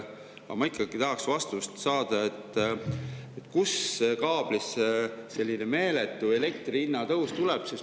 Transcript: Aga ma ikkagi tahaks saada vastust, kuidas kaablis selline meeletu elektri hinna tõus tuleb.